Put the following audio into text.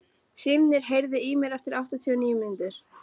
Hrímnir, heyrðu í mér eftir áttatíu og níu mínútur.